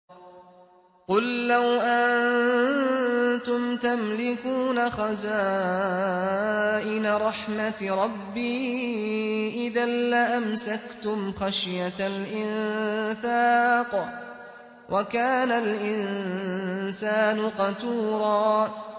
قُل لَّوْ أَنتُمْ تَمْلِكُونَ خَزَائِنَ رَحْمَةِ رَبِّي إِذًا لَّأَمْسَكْتُمْ خَشْيَةَ الْإِنفَاقِ ۚ وَكَانَ الْإِنسَانُ قَتُورًا